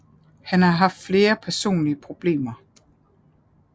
Han har haft flere personlige problemer